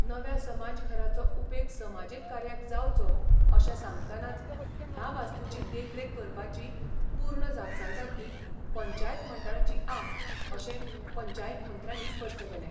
नव्या समाजघराचो उपेग समाजीक कार्याक जावचो अशें सांगतनाच ह्या वास्तूची देखरेख करपाची पूर्ण जापसालदारकी पंचायत मंडळाची आ अशें पंचायत मंत्र्यानी स्पश्ट केलें.